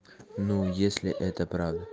ну если это правда